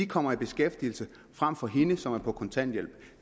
kommer i beskæftigelse frem for hende som er på kontanthjælp